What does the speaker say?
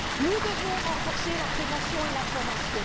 Nous devons renforcer la prévention et la formation.